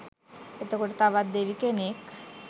එතකොට තවත් දෙවි කෙනෙක්